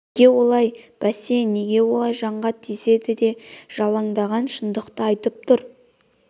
неге олай бәсе неге олай жанға тисе де жалаңдаған шындықты айтып тұр